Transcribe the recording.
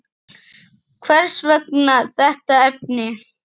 Hvers vegna þetta efni?